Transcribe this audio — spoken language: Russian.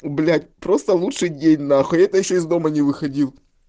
блять просто лучший день нахуй это ещё из дома не выходил